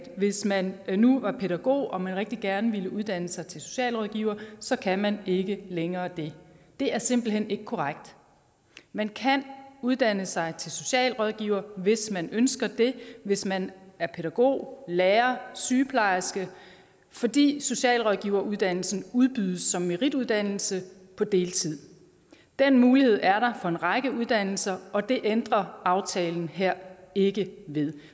hvis man nu var pædagog og rigtig gerne ville uddanne sig til socialrådgiver så kan man ikke længere det det er simpelt hen ikke korrekt man kan uddanne sig til socialrådgiver hvis man ønsker det hvis man er pædagog lærer sygeplejerske fordi socialrådgiveruddannelsen udbydes som merituddannelse på deltid den mulighed er der for en række uddannelser og det ændrer aftalen her ikke ved